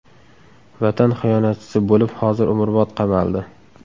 Vatan xiyonatchisi bo‘lib, hozir umrbod qamaldi.